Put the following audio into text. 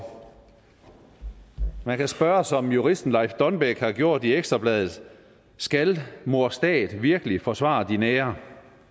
man kan spørge som juristen leif donbæk har gjort i ekstra bladet skal mor stat virkelig forsvare din ære